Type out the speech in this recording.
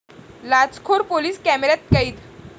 लाचखोर police कॅमेऱ्यात कैद